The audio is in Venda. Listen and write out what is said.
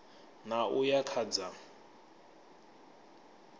ṋ a uya kha dza